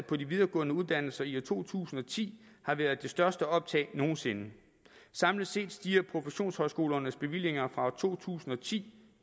på de videregående uddannelser i to tusind og ti har været det største optag nogen sinde samlet set stiger professionshøjskolernes bevillinger fra to tusind og ti